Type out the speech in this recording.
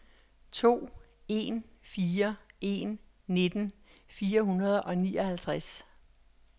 to en fire en nitten fire hundrede og nioghalvtreds